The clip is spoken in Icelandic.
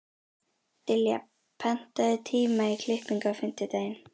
Dilja, pantaðu tíma í klippingu á fimmtudaginn.